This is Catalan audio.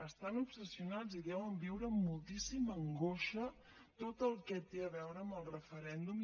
estan obsessionats i deuen viure amb moltíssima angoixa tot el que té a veure amb el referèndum